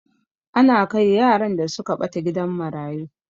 Ana kai yaran da suka ɓata gidan marayu.